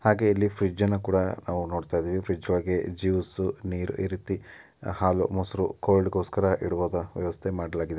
ಹಾಗೇನೆ ಇಲ್ಲಿ ಫ್ರಿಜ್ಜನ್ನು ಕೂಡ ಇಲ್ಲಿ ನೋಡ್ತಾ ಇದೀವಿ ಫ್ರಿಡ್ಜ್ ಒಳಗಡೆ ಜೂಸು ನೀರ್ ಬಾಟಲ್ ಇರುತ್ತೆ. ಹಾಲು-ಮೊಸರು ಕೋಲ್ಡ್ ಗೋಸ್ಕರ ಇಡುವ ವ್ಯವಸ್ಥೆ ಮಾಡಲಾಗಿದೆ.